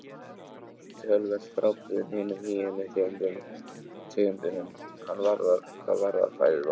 Hann er töluvert frábrugðinn hinum hýenu tegundunum hvað varðar fæðuval.